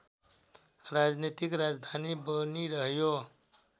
राजनैतिक राजधानी बनिरह्यो